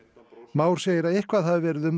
Már segir að eitthvað hafi verið um